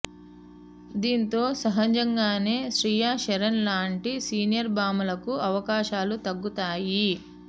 దీనితో సహజంగానే శ్రీయ శరన్ లాంటి సీనియర్ భామలకు అవకాశాలు తగ్గుతాయి